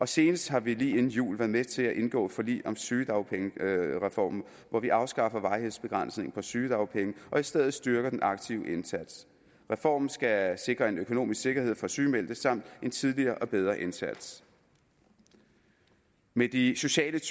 senest har vi lige inden jul være med til at indgå forlig om sygedagpengereformen hvor vi afskaffer varighedsbegrænsningen på sygedagpenge og i stedet styrker den aktive indsats reformen skal sikre en økonomisk sikkerhed for sygemeldte samt en tidligere og bedre indsats med de sociale